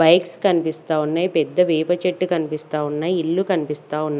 Bikes కనిపిస్తా ఉన్నాయ్ పెద్ద వేప చెట్టు కనిపిస్తా ఉన్నాయ్ ఇల్లు కనిపిస్తావున్నాయ్.